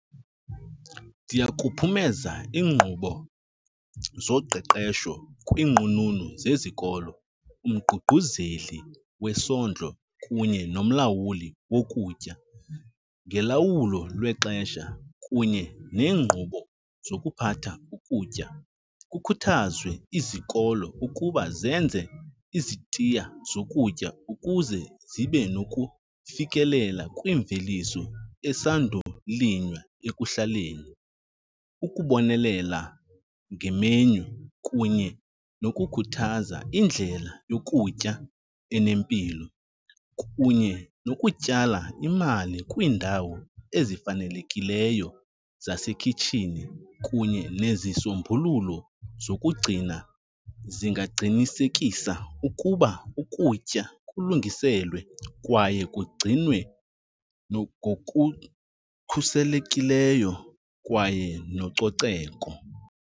Ndiyakuphumeza iinkqubo zoqeqesho kwiinqununu zezikolo, umququzeli wesondlo kunye nomlawuli wokutya ngolawulo lwexesha kunye neenkqubo zokuphatha ukutya. Kukhuthazwe izikolo ukuba zenze izitiya zokutya ukuze zibe nokufikelela kwimveliso esandulinywa ekuhlaleni. Ukubonelela ngemenyu kunye nokukhuthaza indlela yokutya enempilo, kunye nokutyala imali kwiindawo ezifanelekileyo zasekhitshini kunye nezisombululo zokugcina zingaqinisekisa ukuba ukutya kulungiselwe kwaye kugcinwe ngokukhuselekileyo kwaye nococeko.